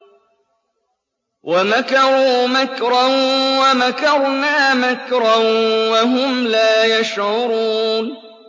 وَمَكَرُوا مَكْرًا وَمَكَرْنَا مَكْرًا وَهُمْ لَا يَشْعُرُونَ